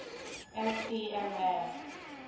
spma